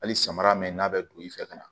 Hali samara min n'a bɛ don i fɛ ka na